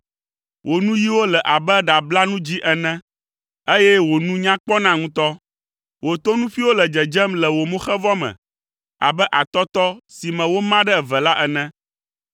Wò nuyiwo le abe ɖablanu dzĩ ene, eye wò nu nya kpɔna ŋutɔ. Wò tonuƒuiwo le dzedzem le wò moxevɔ me abe atɔtɔ si me woma ɖe eve la ene.